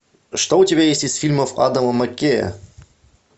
что у тебя есть из фильмов адама маккея